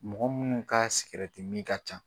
Mɔgɔ minnu ka ka ca.